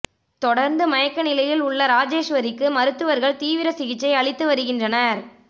தொடர்ந்து மயக்க நிலையில் உள்ள ராஜேஸ்வரிக்கு மருத்துவர்கள் தீவிர சிகிச்சை அளித்து வருகின்றனர்